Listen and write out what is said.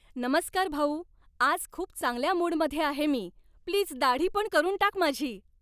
नमस्कार भाऊ. आज खूप चांगल्या मूडमध्ये आहे मी. प्लीज दाढीपण करून टाक माझी.